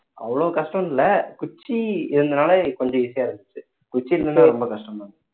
அவ்ளோ கஷ்டம் இல்ல குச்சி இருந்ததுனால கொஞ்சம் easy யா இருந்துச்சு குச்சி இல்லன்னா ரொம்ப கஷ்டம் தான்